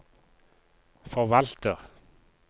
forvalter